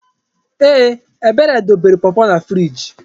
Ee! Ebere debere pọpọ na friiji.